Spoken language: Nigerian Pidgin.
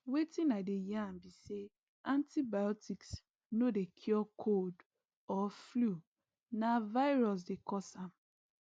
wetin i dey yarn be say antibiotics no dey cure cold or flu na virus dey cause am